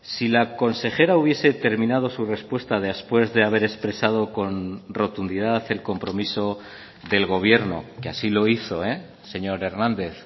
si la consejera hubiese terminado su respuesta después de haber expresado con rotundidad el compromiso del gobierno que así lo hizo señor hernández